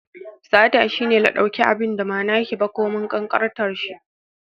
Sata shine la ɗauki abinda ma nake ba, komin ƙanƙantar shi